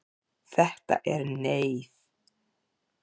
Þetta er Neiið.